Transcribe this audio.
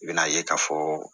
I bɛn'a ye k'a fɔ